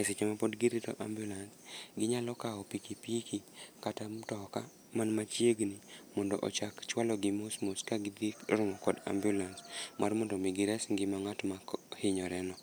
E seche ma pod girito ambulance, ginyalo kawo piki piki kata mtoka mani machiegni, mondo ochak chwalo gi mos mos ka gidhi romo kod ambulance mar mondo omi gires ngima mar ngát ma hinyore no.